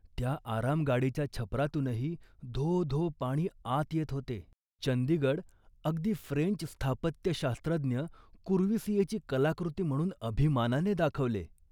त्या आरामगाडीच्या छपरातूनही धो धो पाणी आत येत होते. चंडीगड अगदी फ्रेंच स्थापत्यशास्त्रज्ञ कुर्वीसिऐची कलाकृती म्हणून अभिमानाने दाखवले